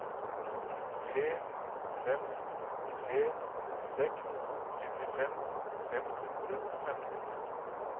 tre fem tre seks syttifem fem hundre og femten